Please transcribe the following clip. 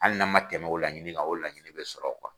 Hali n'an man tɛmɛ o laɲini kan o laɲini bɛ sɔrɔ